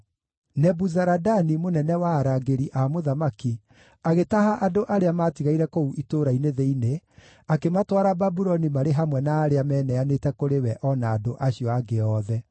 Nebuzaradani, mũnene wa arangĩri a mũthamaki, agĩtaha andũ arĩa maatigaire kũu itũũra-inĩ thĩinĩ, akĩmatwara Babuloni marĩ hamwe na arĩa meneanĩte kũrĩ we o na andũ acio angĩ othe.